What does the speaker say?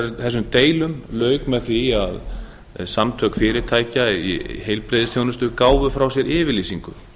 þessum deilum lauk með því að samtök fyrirtækja í heilbrigðisþjónustu gáfu frá sér yfirlýsingu